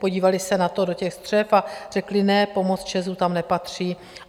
Podívali se na to, do těch střev a řekli ne, pomoc ČEZu tam nepatří.